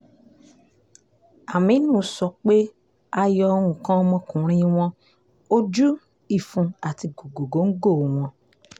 àmínú sọ pé a yọ nǹkan ọmọkùnrin wọn ojú ìfun àti gògòńgò wọn